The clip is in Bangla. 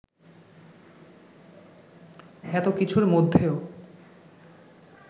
এতো কিছুর মধ্যেও